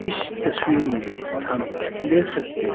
इस तस्वीर में हम देख सकते--